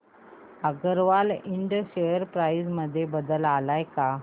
अगरवाल इंड share price मध्ये बदल आलाय का